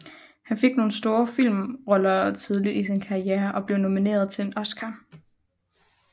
Han fik nogle store filmroller tidligt i sin karriere og blev nomineret til en Oscar